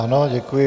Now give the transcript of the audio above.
Ano, děkuji.